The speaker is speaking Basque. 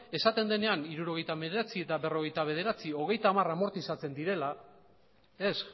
esaten denean hirurogeita hemeretzi eta berrogeita bederatzi hogeita hamar amortizatzen direla ez